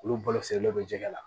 Olu balo sirilen bɛ jɛgɛ la